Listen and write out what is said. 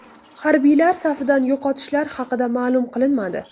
Harbiylar safidan yo‘qotishlar haqida ma’lum qilinmadi.